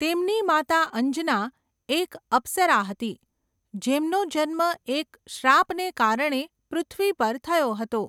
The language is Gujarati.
તેમની માતા અંજના એક અપ્સરા હતી જેમનો જન્મ એક શ્રાપને કારણે પૃથ્વી પર થયો હતો.